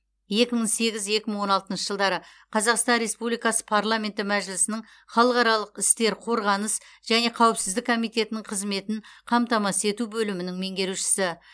екі мың сегіз екі мың он алтыншы жылдары қазақстан республикасы парламенті мәжілісінің халықаралық істер қорғаныс және қауіпсіздік комитетінің қызметін қамтамасыз ету бөлімінің меңерушісі